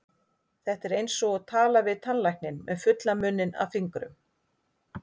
Þetta er eins og tala við tannlækninn með munninn fullan af fingrum.